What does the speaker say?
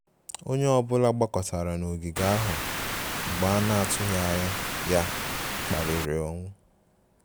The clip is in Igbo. Onye ọ bụla gbakọtara n'ogige ahụ mgbe a na-atụghị anya ya kpaliri ou